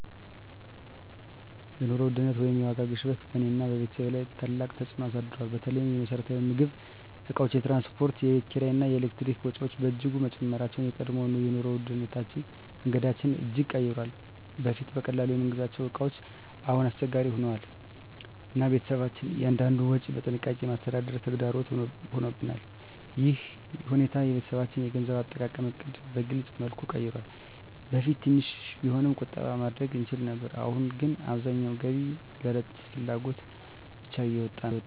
የኑሮ ውድነት ወይም የዋጋ ግሽበት በእኔና በቤተሰቤ ላይ ታላቅ ተፅዕኖ አሳድሯል። በተለይ የመሰረታዊ ምግብ እቃዎች፣ የትራንስፖርት፣ የቤት ኪራይ እና የኤሌክትሪክ ወጪዎች በእጅጉ መጨመራቸው የቀድሞ የኑሮ መንገዳችንን እጅግ ቀይሯል። በፊት በቀላሉ የምንገዛቸው እቃዎች አሁን አስቸጋሪ ሆነዋል፣ እና ቤተሰባችን እያንዳንዱን ወጪ በጥንቃቄ ማስተዳደር ተግዳሮት ሆኖብናል። ይህ ሁኔታ የቤተሰባችንን የገንዘብ አጠቃቀም ዕቅድ በግልፅ መልኩ ቀይሯል። በፊት ትንሽ ቢሆንም ቁጠባ ማድረግ እንችል ነበር፣ አሁን ግን አብዛኛው ገቢ ለዕለታዊ ፍላጎት ብቻ እየወጣ ነው።